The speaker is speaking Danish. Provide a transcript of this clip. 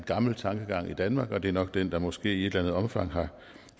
gamle tankegang i danmark og det er nok den der måske i et eller andet omfang har